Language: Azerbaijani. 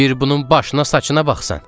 Bir bunun başına, saçına baxsan.